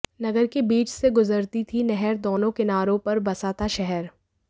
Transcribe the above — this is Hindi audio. नगर के बीच से गुजरती थी नहर दोनों किनारों पर बसा था शहर